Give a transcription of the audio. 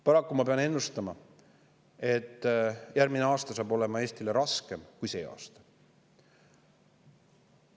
Paraku ma pean ennustama, et järgmine aasta tuleb Eestile raskem kui see aasta.